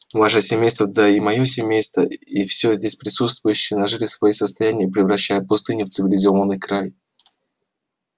ваше семейство да и моё семейство и все здесь присутствующие нажили свои состояния превращая пустыню в цивилизованный край